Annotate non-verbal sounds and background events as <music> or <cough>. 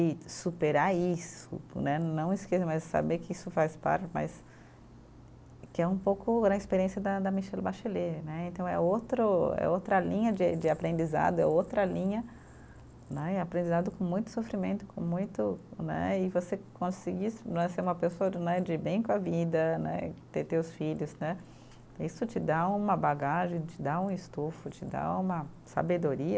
E superar isso né, não <unintelligible> mas saber que isso faz parte mas, que é um pouco né, a experiência da da Michelle Bachelet né, então é outro, é outra linha de de aprendizado, é outra linha né, e aprendizado com muito sofrimento, com muito né, e você conseguir né ser uma pessoa né, de bem com a vida né, ter teus filhos né, isso te dá uma bagagem, te dá um estufo, te dá uma sabedoria,